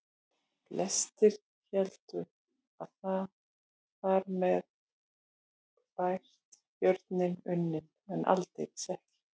Flestir héldu að þar með væri björninn unninn en aldeilis ekki.